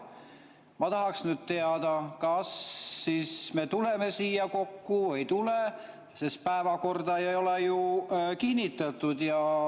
Ma tahaks teada, kas me siis tuleme siia kokku või ei tule, sest päevakorda ei ole ju kinnitatud.